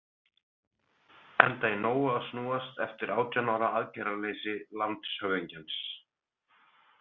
Enda í nógu að snúast eftir átján ára aðgerðaleysi landshöfðingjans.